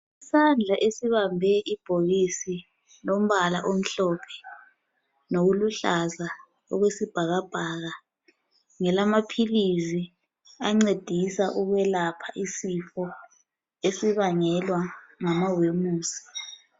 Isandla esibambe ibhokisi lombala omhlophe lokuluhlaza okwesibhakabhaka ngelamaphilisi ancedisa ukwelapha isifo esibangelwa ngamawemusi.